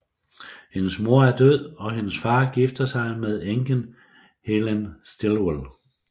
Hendes mor er død og hendes far gifter sig med enken Helen Stillwell